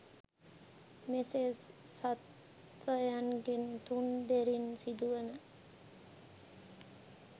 මෙසේ සත්ත්වයන්ගෙන් තුන් දොරින් සිදුවන